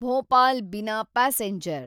Bhopal Bina passenger